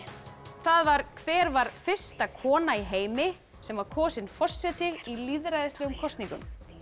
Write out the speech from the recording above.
það var hver var fyrsta kona í heimi sem var kosin forseti í lýðræðislegum kosningum